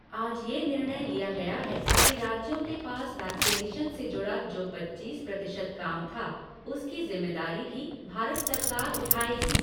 आज ये निर्णय लिया गया है कि राज्यों के पास वैक्सीनेशन से जुड़ा जो पच्चीस प्रतिशत काम था, उसकी जिम्मेदारी भी भारत सरकार उठाएगी।